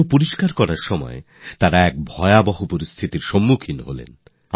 সেগুলি পরিস্কার করতে করতে বিষয়টা তাদের খুব গুরুতর মনে হয়